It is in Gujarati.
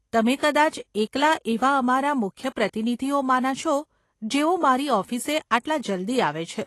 તમે કદાચ એકલા એવાં અમારા મુખ્ય પ્રતિનિધિઓમાંના છો, જેઓ મારી ઓફિસે આટલા જલ્દી આવે છે.